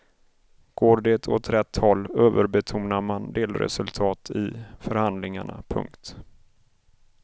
Går det åt rätt håll överbetonar man delresultat i förhandlingarna. punkt